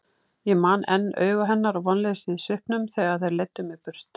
Ég man enn augu hennar og vonleysið í svipnum þegar þeir leiddu mig burt.